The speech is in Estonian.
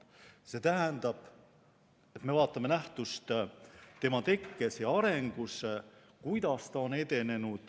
See tähendab, et me vaatame nähtust tema tekkes ja arengus, kuidas ta on edenenud.